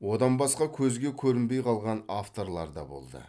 одан басқа көзге көрінбей қалған авторлар да болды